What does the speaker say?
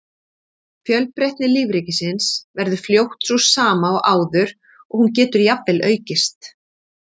Fjölbreytni lífríkisins verður fljótt sú sama og áður og hún getur jafnvel aukist.